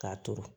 K'a turu